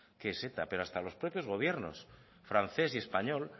que es eta pero hasta los propios gobiernos francés y español